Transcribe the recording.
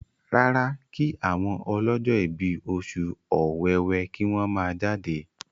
rárá kí àwọn ọlọjọ ibí Oṣù Ọ̀wẹwẹ kí wón má jáde.